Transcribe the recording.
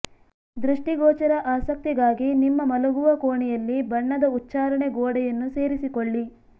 ದೃಷ್ಟಿಗೋಚರ ಆಸಕ್ತಿಗಾಗಿ ನಿಮ್ಮ ಮಲಗುವ ಕೋಣೆಯಲ್ಲಿ ಬಣ್ಣದ ಉಚ್ಚಾರಣೆ ಗೋಡೆಯನ್ನು ಸೇರಿಸಿಕೊಳ್ಳಿ